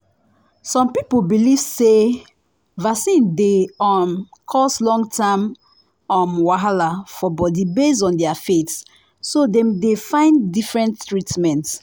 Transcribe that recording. some people believe say vaccine dey um cause long-term um wahala for body based on their faith so dem dey find different treatment.